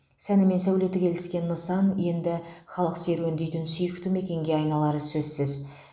сәні мен сәулеті келіскен нысан енді халық серуендейтін сүйікті мекенге айналары сөзсіз